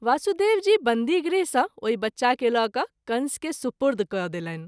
वासुदेव जी बंदी गृह सँ ओहि बच्चा के ल’क’ कंस के सुपुर्द कय देलनि।